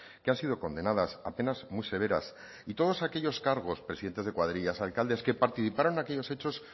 que han sido condenadas a penas muy severas y todos aquellos cargos presidentes de cuadrillas alcaldes que participaron en aquellos hechos